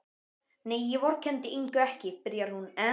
Nei, ég vorkenndi Ingu ekki, byrjar hún enn.